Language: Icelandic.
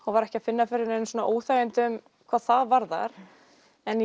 var ekki að finna fyrir neinum óþægindum hvað það varðar en